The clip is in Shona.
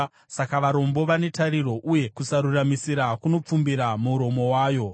Saka varombo vane tariro, uye kusaruramisira kunopfumbira muromo wako.